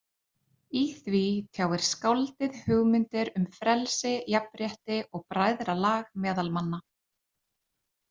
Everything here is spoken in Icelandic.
Í því tjáir skáldið hugmyndir um frelsi, jafnrétti og bræðralag meðal manna.